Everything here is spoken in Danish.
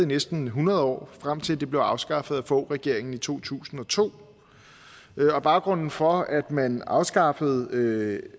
næsten hundrede år frem til at det blev afskaffet af foghregeringen i to tusind og to baggrunden for at man afskaffede